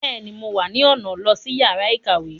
Bẹẹni, Mo wá ni ọna lo si yàrá ìkàwé